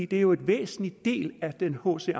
det er jo en væsentlig del af den hc